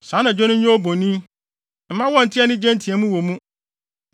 Saa anadwo no nyɛ obonin; mma wɔnnte anigye nteɛmu wɔ mu.